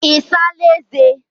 I saala eze?